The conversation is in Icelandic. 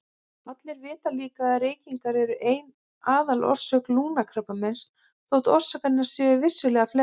Allir vita líka að reykingar eru ein aðalorsök lungnakrabbameins þótt orsakirnar séu vissulega fleiri.